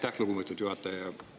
Aitäh, lugupeetud juhataja!